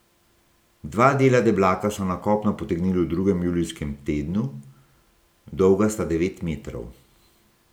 Dva dela deblaka so na kopno potegnili v drugem julijskem tednu, dolga sta devet metrov.